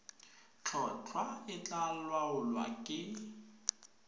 tlhotlhwa e tla laolwa ke